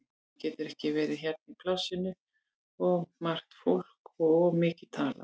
Hann getur ekki verið hérna í plássinu, of margt fólk og of mikið talað.